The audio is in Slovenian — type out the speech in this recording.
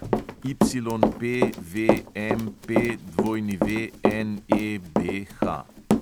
YPVMPWNEBH